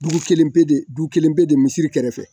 Dugu kelen bɛ de dugu kelen bɛ de misiri kɛrɛfɛ